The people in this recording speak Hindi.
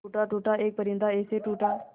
टूटा टूटा एक परिंदा ऐसे टूटा